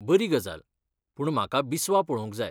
बरी गजाल, पूण म्हाका बिस्वा पळोवंक जाय.